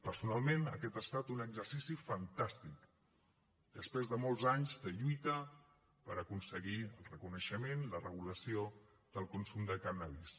personalment aquest ha estat un exercici fantàstic després de molts anys de lluita per aconseguir el reconeixement i la regulació del consum de cànnabis